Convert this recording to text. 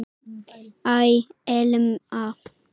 Æ, Elma.